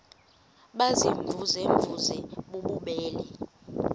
baziimvuze mvuze bububele